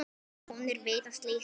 Konur vita slíkt.